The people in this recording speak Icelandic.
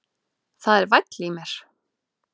Það er væll í mér.